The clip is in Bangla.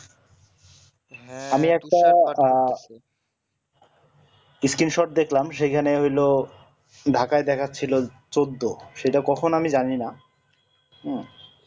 হ্যাঁ আমি একটা আহ screenshot দেখলাম সেই খানে ওগুলো ঢাকায় দেখাচ্ছিল চোদ্দ সেই টা কখন আমি জানি না হম